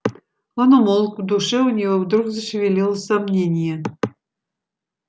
он умолк в душе у него вдруг зашевелилось сомнение